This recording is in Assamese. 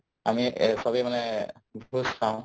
আমি এই চবেই মানে ভোজ খাওঁ